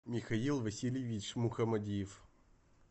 михаил васильевич мухамадиев